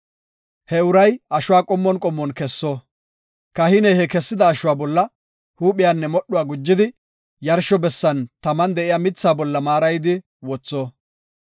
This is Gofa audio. He uray ashuwa qommon qommon kesso; kahiney he kessida ashuwa bolla huuphiyanne modhuwa gujidi, yarsho bessan taman de7iya mithaa bolla maarayidi wotho.